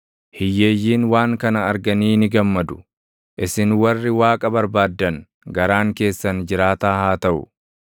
Hiyyeeyyiin waan kana arganii ni gammadu; isin warri Waaqa barbaaddan garaan keessan jiraata haa taʼu!